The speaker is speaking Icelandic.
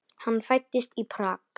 Hann fæddist í Prag.